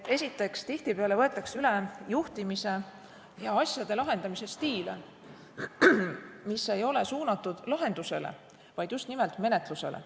Esiteks, tihtipeale võetakse üle juhtimise ja asjade lahendamise stiile, mis ei ole suunatud lahendusele, vaid just nimelt menetlusele.